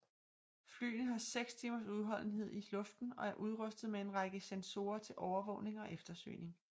Flyene har seks timers udholdenhed i luften og er udrustet med en række sensorer til overvågning og eftersøgning